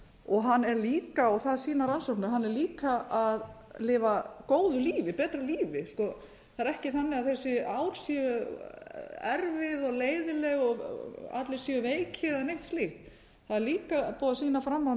og hann er líka og það sýna rannsóknir að hann er líka að lifa góðu lífi betra lífi það er ekki þannig að þessi á séu erfið og leiðinleg og allir séu veikir eða neitt slíkt það er líka búið að sýna fram